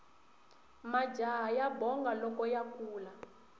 majaha ya bonga loko ya kula